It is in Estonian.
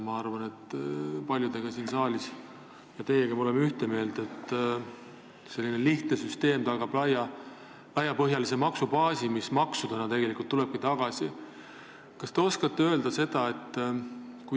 Ma arvan, et paljud siin saalis on teiega ühte meelt, et lihtne süsteem tagab laiapõhjalise maksubaasi, mis maksudena toobki tegelikult raha tagasi.